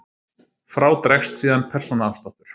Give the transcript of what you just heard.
Frá dregst síðan persónuafsláttur.